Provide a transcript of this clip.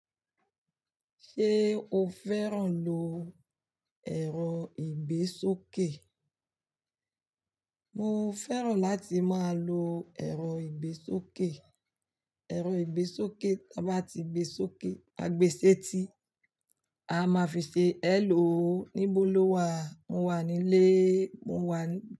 Ṣé o fẹ́ràn lo ẹ̀rọ ìgbésókè? Mo fẹ́ràn láti máa lo ẹ̀rọ ìgbésókè. Ẹ̀rọ ìgbésókè tabá ti gbe sókè, a gbe sẹ́ti, a máa fi ṣe "Hello, níbo lo wà?" "Mo wà nílé", "Mo wà.